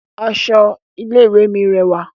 Aṣọ ilé ìwé mi rẹwà